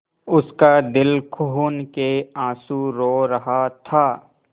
उसका दिल खून केआँसू रो रहा था